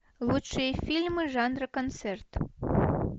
лучшие фильмы жанра концерт